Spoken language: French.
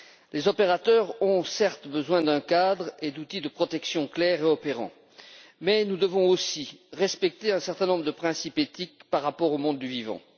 Les opérateurs ont, certes, besoin d'un cadre et d'outils de protection clairs et opérants, mais nous devons aussi respecter un certain nombre de principes éthiques par rapport au monde du vivant.